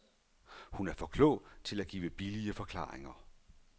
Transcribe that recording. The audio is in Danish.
Hun er for klog til at give billige forklaringer.